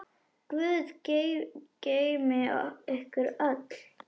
Guð geymi ykkur öll.